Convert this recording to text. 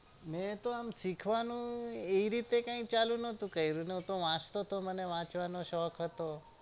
મેં તો આમ શીખવાનું એ રીતે કાઈ ચાલુ નતુ કર્યું હું તો વાચતો તો ને મને વાંચવાનો શોક હતો